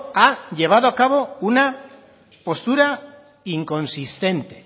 ha llevado a cabo una postura inconsistente